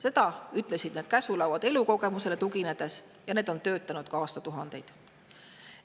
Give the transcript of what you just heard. Seda ütlesid need käsulauad elukogemusele tuginedes ja need on töötanud aastatuhandeid.